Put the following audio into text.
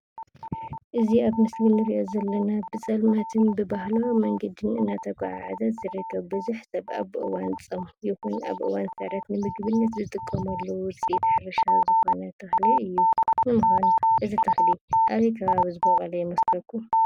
እዚ ኣብ ምሰሊ ንሪኦ ዘለና ብፀልማትን ብባህላዊ መንገዲ እናተጓዓዓዘ ዝርከብ ብዙሕ ሰብ ኣብ እዋን ፆም ይኹን ኣብ እዋን ስዕረት ንምግብነት ዝጥቀመሉ ውፅኢት ሕርሻ ዝኾነ ተኽሊ እዩ፡፡ ንምዃኑ እዚ ተኽሊ ኣበይ ከባቢ ዝበቖለ ይመስለኩም?